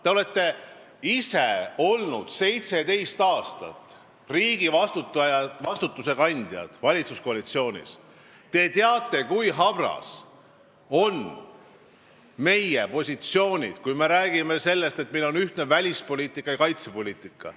Te olete ise olnud seitseteist aastat riigivastutuse kandjad valitsuskoalitsioonis, te teate, kui habras on meie positsioon, kui me räägime sellest, et meil on ühtne välispoliitika ja kaitsepoliitika.